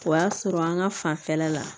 O y'a sɔrɔ an ka fanfɛla la